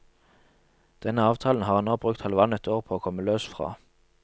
Denne avtalen har han nå brukt halvannet år på å komme løs fra.